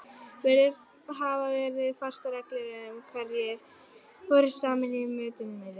Virðast hafa verið fastar reglur um hverjir voru saman í mötuneyti.